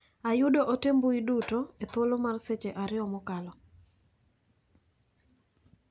Ayudo ote mbui duto e thuolo mar seche ariyo mokalo.